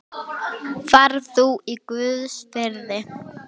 Far þú í Guðs friði.